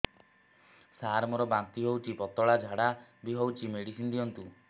ସାର ମୋର ବାନ୍ତି ହଉଚି ପତଲା ଝାଡା ବି ହଉଚି ମେଡିସିନ ଦିଅନ୍ତୁ